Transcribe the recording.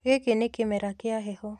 Gĩkĩ nĩ kĩmera kĩa heho